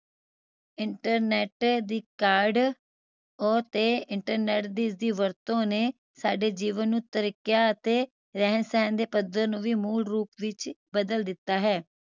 internet ਦੀ ਕਾਢ ਓ ਤੇ internet ਦੀ ਇਸਦੀ ਵਰਤੋਂ ਨੇ ਸਾਡੇ ਜੀਵਨ ਨੂੰ ਤਰੀਕਿਆਂ ਅਤੇ ਰਹਿਣ ਸਹਿਣ ਦੇ ਪੱਧਰ ਨੂੰ ਵੀ ਮੂਲ ਰੂਪ ਵਿਚ ਬਦਲ ਦਿੱਤਾ ਹੈ